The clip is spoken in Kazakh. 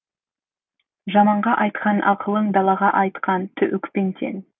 жаманға айтқан ақылың далаға атқан оқпен тең